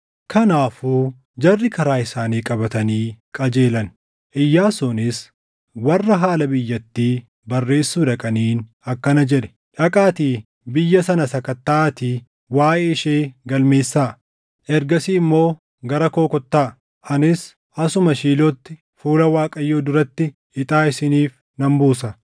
Kanaafuu jarri karaa isaanii qabatanii qajeelan; Iyyaasuunis warra haala biyyattii barreessuu dhaqaniin akkana jedhe; “Dhaqaatii biyya sana sakattaʼaatii waaʼee ishee galmeessaa. Ergasii immoo gara koo kottaa; anis asuma Shiilootti fuula Waaqayyoo duratti ixaa isiniif nan buusa.”